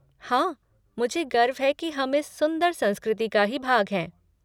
हाँ, मुझे गर्व है की हम इस सुंदर संस्कृति का ही भाग हैं।